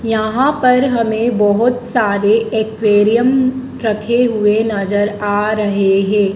यहां पर हमें बहोत सारे एक्वेरियम रखे हुए नजर आ रहे हैं।